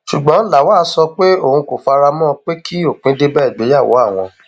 ṣùgbọn lawal sọ pé òun kò fara mọ pé kí òpin dé bá ìgbéyàwó àwọn